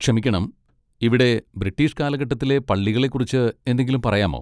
ക്ഷമിക്കണം, ഇവിടെ ബ്രിട്ടീഷ് കാലഘട്ടത്തിലെ പള്ളികളെക്കുറിച്ച് എന്തെങ്കിലും പറയാമോ?